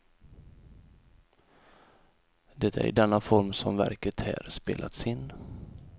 Det är i denna form som verket här spelats in.